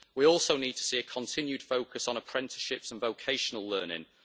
We also need to see a continued focus on apprenticeships and vocational learning.